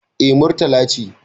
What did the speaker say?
Eh, Murtala ce